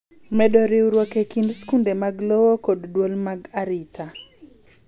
Medo riwruok e kind skunde mag lowo kod duol mag arita.